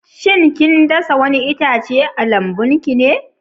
Shin kin dasa wani itace a lambun ki ne?